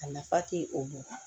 A nafa ti o ma